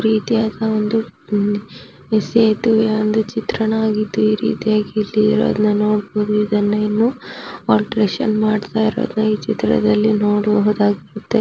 ಈ ರೀತಿಯಾದ ಒಂದು ಸೇತುವೆಯಾದ ಚಿತ್ರಣಯಾಗಿದ್ದು ಈ ರೀತಿಯಾಗಿ ಇಲ್ಲಿ ಇರೋದನ್ನ ನೊಡ್ಬೋಹುದು ಅದನ್ನ ಆಲ್ಟರೇಷನ್ ಮಾಡುತ್ತಿರುವುದನ್ನು ನೋಡಬಹುದು.